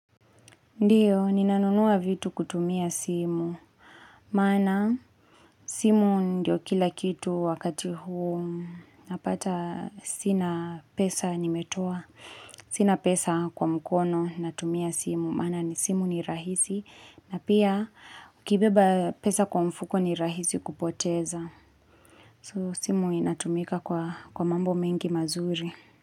Ndiyo, ninanunua vitu kutumia simu. Maana, simu ndio kila kitu wakati huu napata sina pesa nimetoa. Sina pesa kwa mkono natumia simu. Maana, ni simu ni rahisi. Na pia, ukibeba pesa kwa mfuko ni rahisi kupoteza. So, simu inatumika kwa mambo mengi mazuri.